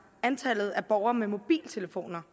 antallet af borgere med mobiltelefoner